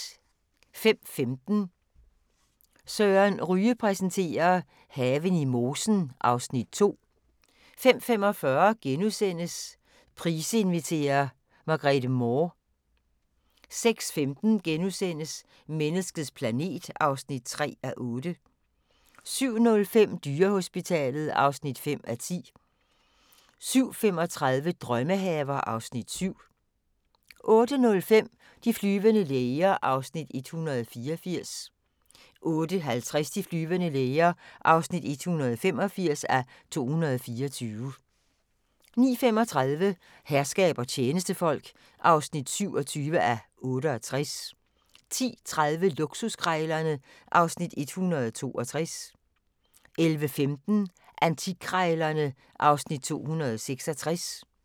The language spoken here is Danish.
05:15: Søren Ryge præsenterer: Haven i mosen (Afs. 2) 05:45: Price inviterer - Margrete Moore * 06:15: Menneskets planet (3:8)* 07:05: Dyrehospitalet (5:10) 07:35: Drømmehaver (Afs. 7) 08:05: De flyvende læger (184:224) 08:50: De flyvende læger (185:224) 09:35: Herskab og tjenestefolk (27:68) 10:30: Luksuskrejlerne (Afs. 162) 11:15: Antikkrejlerne (Afs. 266)